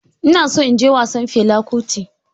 Ina so in je wasan Fela Kuti.